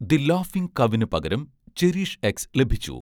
the ലാഫിങ് കൗവിന് പകരം 'ചെറിഷ്എക്സ്' ലഭിച്ചു